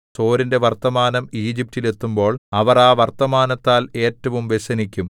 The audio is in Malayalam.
സോരിന്റെ വർത്തമാനം ഈജിപ്റ്റിൽ എത്തുമ്പോൾ അവർ ആ വർത്തമാനത്താൽ ഏറ്റവും വ്യസനിക്കും